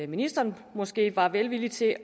ministeren måske var villig til